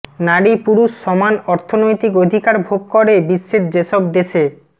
নারী পুরুষ সমান অর্থনৈতিক অধিকার ভোগ করে বিশ্বের যেসব দেশে